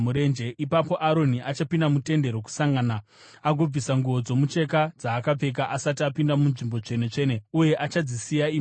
“Ipapo Aroni achapinda muTende Rokusangana agobvisa nguo dzomucheka dzaapfeka asati apinda muNzvimbo Tsvene-tsvene uye achadzisiya imomo.